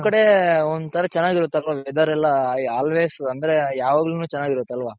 ನಿಮ್ ಕಡೆ ಒಂಥರ ಚೆನ್ನಾಗಿರುತ್ತಲ್ವ weather ಎಲ್ಲ always ಅಂದ್ರೆ ಯಾವಾಗ್ಲುನು ಚೆನ್ನಾಗಿರುತ್ತಲ್ವಾ?